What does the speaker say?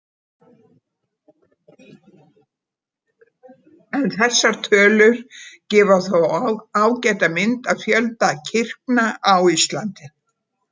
En þessar tölur gefa þó ágæta mynd af fjölda kirkna á Íslandi.